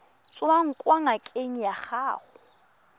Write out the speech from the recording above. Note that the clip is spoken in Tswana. tswang kwa ngakeng ya gago